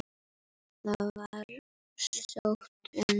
Það var sótt um.